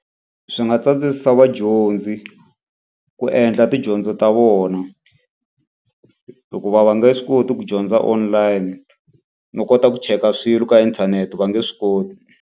Swi nga tsandzisisa vadyondzi ku endla tidyondzo ta vona. Hikuva va nge swi koti ku dyondza online, no kota ku cheka swilo ka inthanete va nge swi koti.